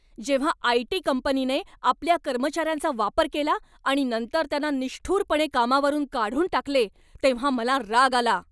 जेव्हा आयटी कंपनीने आपल्या कर्मचाऱ्यांचा वापर केला आणि नंतर त्यांना निष्ठुरपणे कामावरून काढून टाकले तेव्हा मला राग आला.